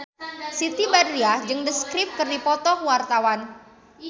Siti Badriah jeung The Script keur dipoto ku wartawan